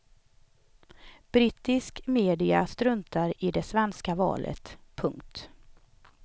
Brittisk media struntar i det svenska valet. punkt